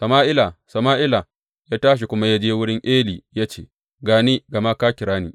Sama’ila ya tashi kuma ya je wurin Eli ya ce, Ga ni, gama ka kira ni.